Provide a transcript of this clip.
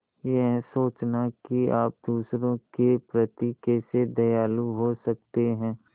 यह सोचना कि आप दूसरों के प्रति कैसे दयालु हो सकते हैं